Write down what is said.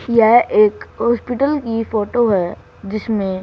यह एक हॉस्पिटल की फोटो है जिसमें--